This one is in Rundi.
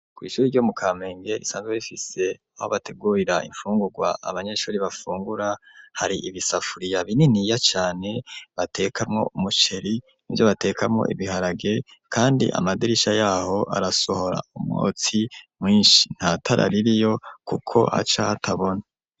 Kw'ishuri ryo mu kamenge risanzwe rifise aho bategurira imfungurwa abanyeshuri bafungura hari ibisafuriya bininiya cane batekamwo umuceri nivyo batekamwo ibiharage kandi amadirisha yaho arasohora umwotsi mwishi ntatara ririyo kuko aca hatabona.